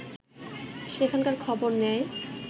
সেখানকার খবর নেয়